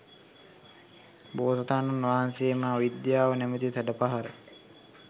බෝසතාණන් වහන්සේ එම අවිද්‍යාව නමැති සැඩ පහරින්